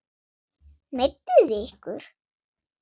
Meidduð þið ykkur?